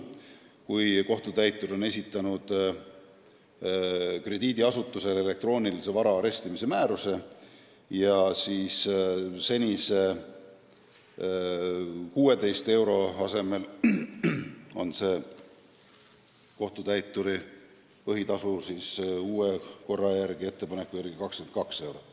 Kui kohtutäitur on esitanud krediidiasutusele elektroonilise vara arestimise määruse, siis senise 16 euro asemel on kohtutäituri põhitasu ettepaneku järgi 22 eurot.